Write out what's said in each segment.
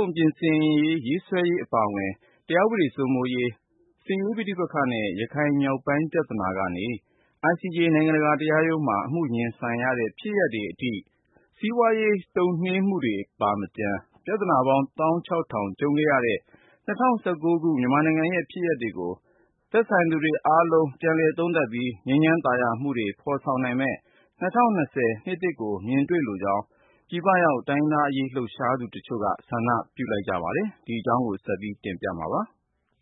ုံပြင်ဆင်ရေးဆွဲရေး အပါအဝင် တရားဥပဒေစိုးမိုးရေး၊ စစ်ရေးပဋိပက္ခနဲ့ ရခိုင်မြောက်ပိုင်း ပြဿာနာကနေ ICJ နိုင်ငံတကာတရားရုံးမှာ အမှုရင်ဆိုင်ရတဲ့ ဖြစ်ရပ်တွေအထိ စီးပွားရေး တုံ့နှေးမှုတွေပါမကျန် ပြဿနာပေါင်း သောင်းခြောက်ထောင် ကြုံခဲ့ရတဲ့ ၂၀၁၉ ခု မြန်မာနိုင်ငံရဲ့ ဖြစ်ရပ်တွေကို သက်ဆိုင်သူတွေအားလုံး ပြန်လည်သုံးသပ်ပြီး ငြိမ်းချမ်းသာယာမှုတွေ ဖော်ဆောင်နိုင်မယ့် ၂၀၂၀ နှစ်သစ်ကို မြင်တွေ့လိုကြောင်း ပြည်ပရောက် တိုင်းရင်းသားအရေး လှုပ်ရှားသူတချို့က ဆန္ဒပြုလိုက်ကြပါတယ်။ အပြည့်အစုံကို ကိုဉာဏ်ဝင်းအောင်က စုစည်းတင်ပြထားပါတယ်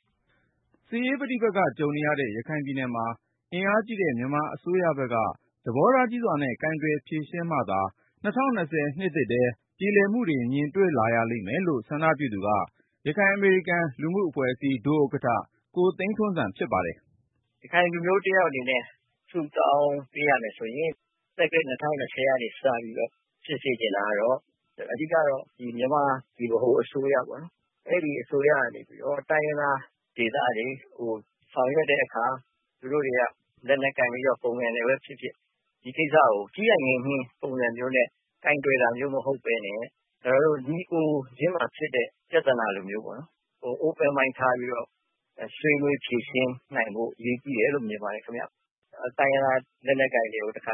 ။ စစ်ရေးပဋိပက္ခ ကြုံနေရတဲ့ ရခိုင်ပြည်နယ်မှာ အင်အားကြီးတဲ့ မြန်မာအစိုးရဘက်က သဘောထားကြီးစွာနဲ့ ကိုင်တွယ်ဖြေရှင်းမှသာ ၂၀၂၀ နှစ်သစ်ထဲ ပြေလည်မှုတွေ မြင်လာရလိမ့်မယ်လို့ ဆန္ဒပြုသူက ရခိုင်အမေရိကန် လူမှုအဖွဲ့အစည်း ဒုဥက္ကဋ္ဌ ကိုသိန်းထွန်းဇံ ဖြစ်ပါတယ်။ “ရခိုင်လူမျိုးတယောက် အနေနဲ့ ဆုတောင်းပေးရမယ်ဆိုရင် သက္ကရာဇ် ၂၀၂၀ ကနေ စပြီးတော့ ဖြစ်စေချင်တာ အဓိကတော့ မြန်မာ ဗဟိုအစိုးရကနေပြီးတော့ တိုင်းရင်းသားဒေသတွေကို ဆောင်ရွက်တဲ့အခါ သူတို့တွေက လက်နက်ကိုင်ပြီး ပုန်ကန်တာပဲဖြစ်ဖြစ် ဒီကိစ္စကို ကြီးနိုင်ငယ်ညှဉ်း ပုံစံမျိုးနဲ့ ကိုင်တွယ်တာမျိုး မဟုတ်ဘဲနဲ့ ညီအစ်ကိုချင်းဖြစ်တဲ့ ပြဿနာလိုမျိုး Open Mind ထားပြီးတော့ ဆွေးနွေးဖြေရှင်းနိုင်ဖို့ အရေးကြီးတယ်လို့ မြင်ပါတယ်။ “တိုင်းရင်းသား လက်နက်ကိုင်တွေကို အပြတ်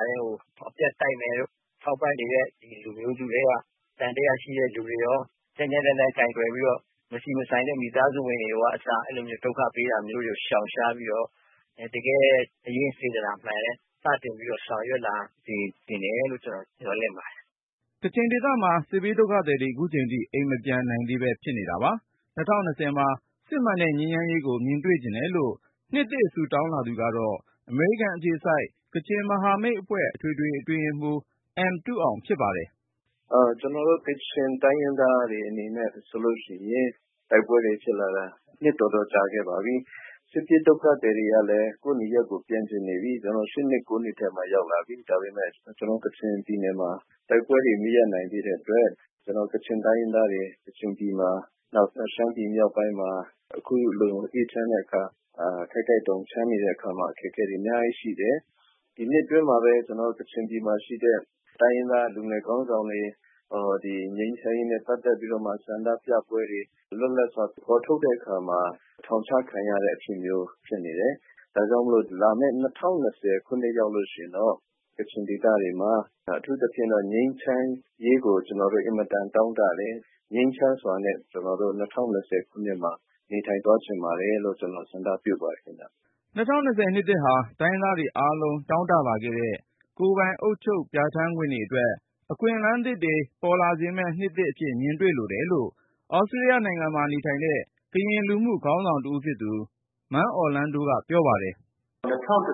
တိုက်မယ်တို့ ထောက်ပံ့နေတဲ့ လူမျိုးစုထဲက သံသယရှိတဲ့သူတွေရော ကြမ်းကြမ်းတမ်းတမ်း ကိုင်တွယ်ပြီးတော့ မဆိုင်တဲ့ မိသားစုဝင်တွေရော ဒုက္ခပေးတာမျိုး ရှောင်ရှားပြီးတော့ တကယ် စိတ်ရင်း စေတနာမှန်နဲ့ စတင်ပြီး ဆောင်ရွက်လာစေချင်တယ်လို့ ကျနော် မျှော်လင့်ပါတယ်။” ကချင်ဒေသမှာ စစ်ဘေးဒုက္ခသည်တွေ ခုချိန်ထိ အိမ်မပြန်နိုင်သေးဘဲ ဖြစ်နေတာပါ။ ၂၀၂၀ မှာ စစ်မှန်တဲ့ ငြိမ်းချမ်းရေးကို မြင်တွေ့ချင်တယ်လို့ နှစ်သစ် ဆုတောင်းလာသူက အမေရိကန်အခြေစိုက် ကချင်မဟာမိတ်အဖွဲ့ အထွေထွေအတွင်းရေးမှူး အမ်တုအောင် ဖြစ်ပါတယ်။ “ကျနော်တို့ ကချင်တိုင်းရင်းသားတွေ အနေနဲ့ဆိုရင် တိုက်ပွဲတွေဖြစ်လာတာ နှစ်တော်တော်ကြာခဲ့ပါပြီ။ စစ်ပြေးဒုက္ခသည်တွေကလည်း ကိုယ့်နေရပ်ကို ပြန်ချင်နေပြီ။ ၈ နှစ် ၉ နှစ်ထဲမှာ ရောက်လာပြီ။ ဒါပေမယ့် ကျနော်တို့ ကချင်ပြည်နယ်မှာ တိုက်ပွဲတွေ မရပ်နိုင်သေးတဲ့အတွက် ကချင်တိုင်းရင်းသားတွေ ကချင်ပြည်မှာ၊ နောက် ရှမ်းပြည်မြောက်ပိုင်းမှာ အခုလို အေးချမ်းတဲ့အခါ၊ ခိုက်ခိုက်တုန် ချမ်းတဲ့အခါမှာ အခက်အခဲတွေ အများကြီးရှိတယ်။ “ဒီနှစ်အတွင်းမှာပဲ ကချင်ပြည်မှာရှိတဲ့ တိုင်းရင်းသား လူငယ်ခေါင်းဆောင်တွေ၊ ငြိမ်းချမ်းရေးနဲ့ ပတ်သက်ပြီး ဆန္ဒပြပွဲတွေ လွတ်လပ်စွာ ဖော်ထုတ်တဲ့အခါမှာ ထောင်ချခံရတဲ့အဖြစ်မျိုး ဖြစ်နေတယ်။ ဒါကြောင့်မို့ လာမယ့် ၂၀၂၀ ခုနှစ် ရောက်ရင်တော့ ကချင်ဒေသတွေမှာ အထူးသဖြင့်တော့ ငြိမ်းချမ်းရေးကို ကျနော်တို့ အင်မတန် တောင့်တတယ်။ ငြိမ်းချမ်းစွာနဲ့ ၂၀၂၀ ခုနှစ်မှာ နေထိုင်သွားချင်ပါတယ်လို့ ကျနော် ဆန္ဒပြုပါတယ်။” ၂၀၂၀ နှစ်သစ်ဟာ တိုင်းရင်းသားတွေအားလုံး တောင့်တလာခဲ့တဲ့ ကိုယ်ပိုင်အုပ်ချုပ် ပြဋ္ဌာန်းခွင့်တွေအတွက် အခွင့်အလမ်းတွေ ပေါ်လာစေမယ့် နှစ်အဖြစ် မြင်တွေ့လိုတယ်လို့ သြစတြေးလျနိုင်ငံမှာနေတဲ့ ကရင်လူမှုခေါင်းဆောင်တဦးဖြစ်သူ မန်းအော်လန်းဒိုက ပြောပါတယ်။ “၂၀၁၉ က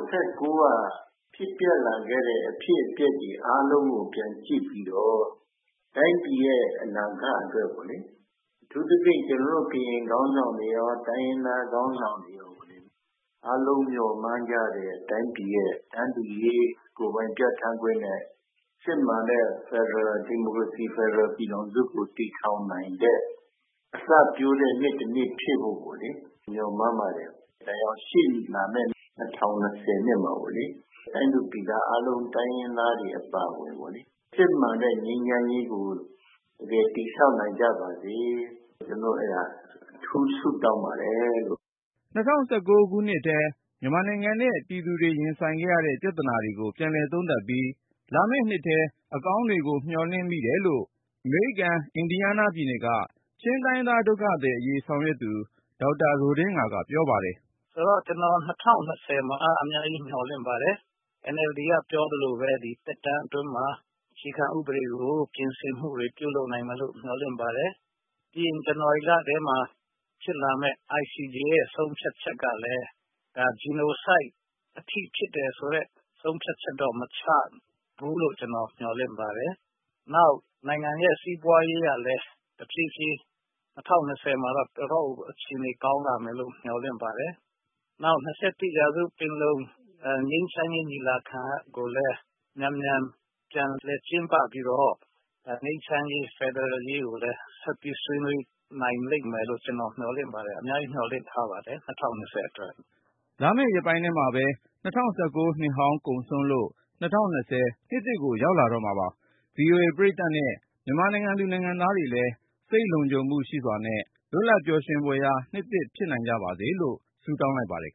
ဖြစ်ပျက်လာခဲ့တဲ့ အဖြစ်အပျက်တွေ အားလုံးကို ပြန်ကြည့်ပြီးတော့ တိုင်းပြည်ရဲ့ အနာဂတ်အတွက် အထူးသဖြင့် ကျနော်တို့ ကရင်ခေါင်းဆောင်တွေရော တိုင်းရင်းသားခေါင်းဆောင်တွေရော အားလုံးမျှော်မှန်းကြတဲ့ တိုင်းပြည်ရဲ့ တန်းတူရေး၊ ကိုယ်ပိုင်ပြဋ္ဌာန်းခွင့်နဲ့ စစ်မှန်တဲ့ ဒီမိုကရေစီ ဖက်ဒရယ်ပြည်ထောင်စုကို တည်ထောင်နိုင်တဲ့ အစပျိုးတဲ့နှစ်တနှစ် ဖြစ်ဖို့ မျှော်မှန်းပါတယ်။ ဒါကြောင့် ရှေ့လာမယ့် ၂၀၂၀ မှာ တိုင်းသူပြည်သား အားလုံး တိုင်းရင်းသားတွေ အပါအဝင် စစ်မှန်တဲ့ ငြိမ်းချမ်းရေးကို တကယ်တည်ဆောင်နိုင်ကြပါစေ၊ ကျနော် အဲဒါ အထူးဆုတောင်းပါတယ်။” ၂၀၁၉ နှစ်ထဲ မြန်မာနိုင်ငံနဲ့ ပြည်သူတွေ ရင်ဆိုင်ရခဲ့တဲ့ ပြဿနာတွေကို ပြန်လည်သုံးသပ်ပြီး လာမယ့်နှစ်ထဲ အကောင်းတွေကို မျှော်လင့်မိတယ်လို့ အမေရိကန် အင်ဒီယားနားပြည်နယ်က ချင်းတိုင်းရင်းသား ဒုက္ခသည်အရေး ဆောင်ရွက်သူ ဒေါက်တာ ရိုဒင်းငါက ပြောပါတယ်။ “ကျနော် ၂၀၂၀ မှာ အများကြီး မျှော်လင့်ပါတယ်။ NLD က ပြောသလိုပဲ ဒီသက်တမ်းအတွင်းမှာ အခြေခံဥပဒေ ပြင်ဆင်မှုတွေ ပြုလုပ်နိုင်မယ်လို့ မျှော်လင့်ပါတယ်။ ပြီးရင် ဇန်နဝါရီလထဲမှ ဖြစ်လာမယ့် ICJ ရဲ့ ဆုံးဖြတ်ချက်ကလည်း Genocide အထိ ဖြစ်တယ်ဆိုတဲ့ ဆုံးဖြတ်ချက်တော့ မချဘူးလို့ ကျနော် မျှော်လင့်ပါတယ်။ နောက် နိုင်ငံရဲ့ စီးပွားရေးကလည်း တဖြည်းဖြည်း ၂၀၂၀ မှာတော့ တော်တော့်ကို အခြေအနေ ကောင်းလာမယ်လို့ မျှော်လင့်ပါတယ်။ နောက် ၂၁ ရာစုပင်လုံ ငြိမ်းချမ်းရေး ညီလာခံကိုလည်း မြန်မြန်ပြန်လည် ကျင်းပပြီးတော့ ငြိမ်းချမ်းရေး ဖက်ဒရယ်ရေးကိုလည်း ဆက်ပြီးဆွေးနွေးနိုင်လိမ့်မယ်လို့ ကျနော် မျှော်လင့်ပါတယ်။ အများကြီး မျှော်လင့်ထားပါတယ် ၂၀၂၀ အတွက်။” လာမယ့်ရက်ပိုင်းထဲမှာပဲ ၂၀၁၉ နှစ်ဟောင်းကုန်ဆုံးလို့ ၂၀၂၀ နှစ်သစ်ကို ရောက်လာတော့မှာပါ။ ဗွီအိုအေ ပရိသတ်နဲ့ မြန်မာနိုင်ငံသူ နိုင်ငံသားတွေလည်း စိတ်လုံခြုံမှုရှိစွာနဲ့ လွတ်လပ်ပျော်ရွှင်ဖွယ်ရာ နှစ်သစ် ဖြစ်နိုင်ကြပါစေလို့ ဆုတောင်းလိုက်ပါတယ်